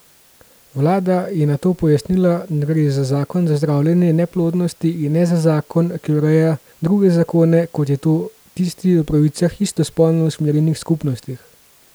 Vlada je na to pojasnila, da gre za zakon za zdravljenje neplodnosti in ne za zakon, ki ureja druge zakone, kot je tisti o pravicah istospolno usmerjenih skupnostih.